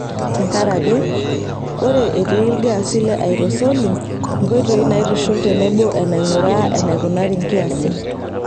Tenkaraki, ore etii ilgaasi le aerosoli, nkoitoi naitushul tebo enainguraa enaikunari nkiasin.